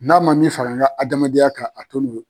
N'a ma min fara an ka adamadenya kan a te n'o